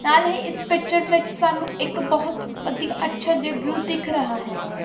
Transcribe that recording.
ਨਾਲ ਹੀ ਇਸ ਪਿਕਚਰ ਵਿੱਚ ਸਾਨੂੰ ਇੱਕ ਬਹੁਤ ਵਧੀਆ ਅੱਛਾ ਜੇਹਾ ਵਿਊ ਦਿਖ ਰਹਾ ਹੈ।